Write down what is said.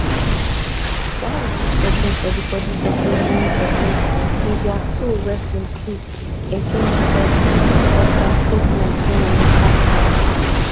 while we keep searching for di bodis of di remaining pesins may dia soul rest in peace agn tok for dia statement wey emeka sign